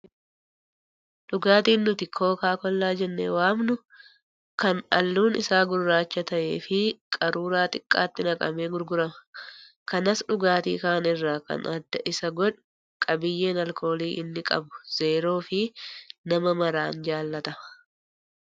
Dhugaatiin nuti kookaa kollaa jennee waamnu kan halluun isaa gurraacha ta'ee fi qaruuraa xiqqaatti naqamee gurgurama. Kanas dhugaatii kaan irraa kan adda isa godhu qabiyyeen alkoolii inni qabu zeeroo fi nama maraan jaallatama.